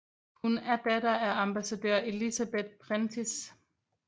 Hun er datter af ambassadør Elizabeth Prentiss